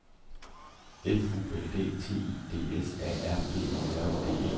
F U L D T I D S A R B E J D E